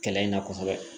Kɛlɛ in na kosɛbɛ